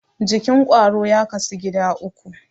Jikin ƙwaro ya kasu gida uku.